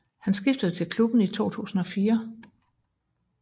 Han skiftede til klubben i 2004